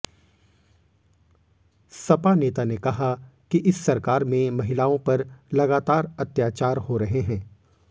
सपा नेता ने कहा कि इस सरकार में महिलाओं पर लगातार अत्याचार हो रहे हैं